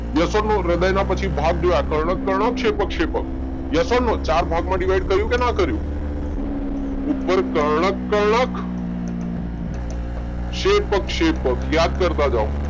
Yes or no હૃદયના પછી ભાગ જોયા કર્ણક-કર્ણક, શેપક-શેપક યસ ઔર નો ચાર ભાગમાં ડીવાઈડ કર્યું કે નાં કર્યું? ઉપર કર્ણક-કર્ણક શેપક-શેપક યાદ કરતા જાઓ